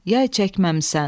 Yay çəkməmisən.